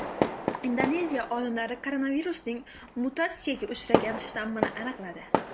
Indoneziya olimlari koronavirusning mutatsiyaga uchragan shtammini aniqladi.